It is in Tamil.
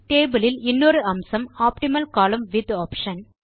டேபிள் இல் இன்னொரு அம்சம் ஆப்டிமல் கோலம்ன் விட்த் ஆப்ஷன்